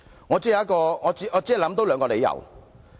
我只能想到兩個理由。